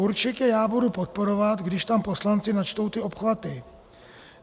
Určitě já budu podporovat, když tam poslanci načtou ty obchvaty.